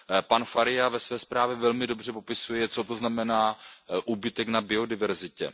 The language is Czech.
Pan Faria ve své zprávě velmi dobře popisuje, co to znamená úbytek na biodiverzitě.